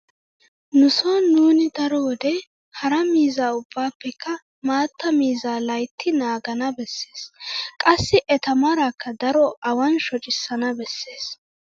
Nu sooni nuuni daro wode hara miizza ubbaappekka maatta miizzaa laytti naagana bessees. Qassi eta maraakka daro awan shocissana bessenna.